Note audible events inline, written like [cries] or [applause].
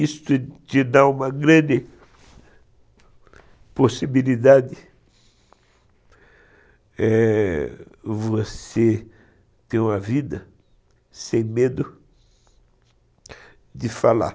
Isso te dá uma grande [cries] possibilidade, é, de você ter uma vida sem medo de falar.